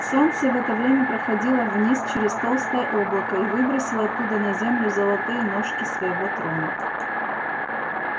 солнце в это время проходило вниз через толстое облако и выбросило оттуда на землю золотые ножки своего трона